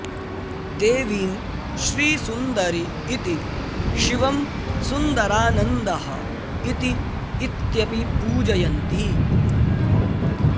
देवीं श्रीसुन्दरी इति शिवं सुन्दरानन्दः इति इत्यपि पूजयन्ति